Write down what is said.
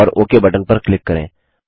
और okay button पर click करें